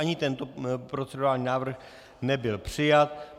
Ani tento procedurální návrh nebyl přijat.